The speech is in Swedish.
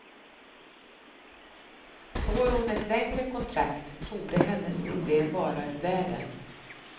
Får hon ett längre kontrakt torde hennes problem vara ur världen.